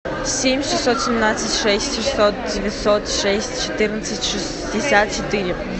семь шестьсот семнадцать шесть шестьсот девятьсот шесть четырнадцать шестьдесят четыре